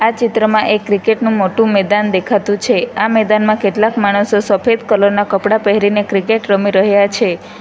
ચિત્રમાં એક ક્રિકેટ નું મોટું મેદાન દેખાતું છે આ મેદાનમાં કેટલાક માણસો સફેદ કલર ના કપડાં પહેરીને ક્રિકેટ રમી રહ્યા છે.